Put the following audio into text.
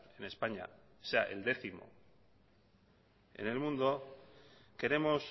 en españa sea el décimo en el mundo queremos